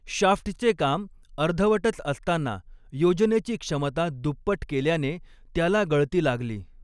शाफ्टचे काम अर्धवटच असताना योजनेची क्षमता दुपट केल्याने त्याला गळती लागली.